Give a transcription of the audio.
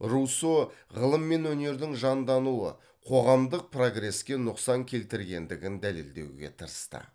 руссо ғылым мен өнердің жандануы қоғамдық прогреске нұқсан келтіргендігін дәлелдеуге тырысты